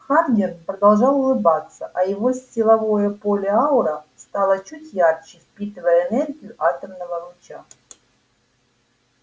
хардин продолжал улыбаться а его силовое поле-аура стало чуть ярче впитывая энергию атомного луча